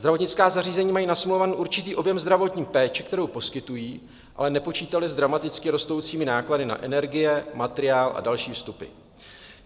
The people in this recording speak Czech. Zdravotnická zařízení mají nasmlouvaný určitý objem zdravotní péče, kterou poskytují, ale nepočítala s dramaticky rostoucími náklady na energie, materiál a další vstupy.